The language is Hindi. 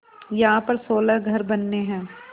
यहाँ पर सोलह घर बनने हैं